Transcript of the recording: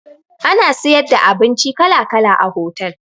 Ana siyar da abinci kala kala a hotal